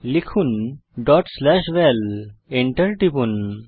লিখুন val dot slash val Enter টিপুন